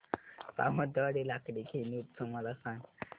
सावंतवाडी लाकडी खेळणी उत्सव मला सांग